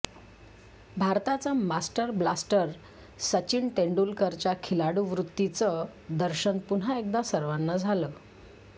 भारताचा master blaster Sachin तेंडुलकरच्या खिलाडुवृत्तीचं दर्शन पुन्हा एकदा सर्वांना झालं